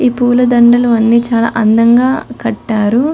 ఈ పూల దండలు అన్ని చాలా అందంగా కట్టారు